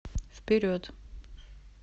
вперед